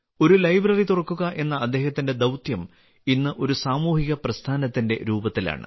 ഒരു ലൈബ്രറി തുറക്കുക എന്ന അദ്ദേഹത്തിന്റെ ദൌത്യം ഇന്ന് ഒരു സാമൂഹിക പ്രസ്ഥാനത്തിന്റെ രൂപത്തിലാണ്